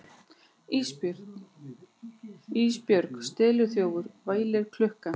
Ísbjörg steliþjófur, vælir klukkan.